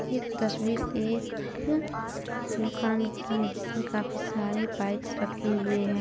ये तस्वीर एक दुकान की है जिसमें काफी सारे बाइक्स रखे हुए हैं।